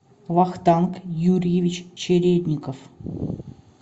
вахтанг юрьевич чередников